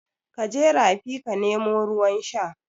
Kaje rafi ka nemo ruwan sha